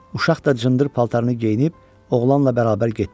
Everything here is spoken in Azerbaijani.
Uşaq da cındır paltarını geyinib oğlanla bərabər getdi.